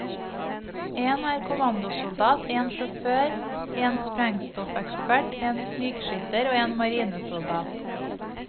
En er kommandosoldat, en sjåfør, en sprengstoffekspert, en snikskytter og en marinesoldat.